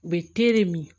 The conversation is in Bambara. U bɛ min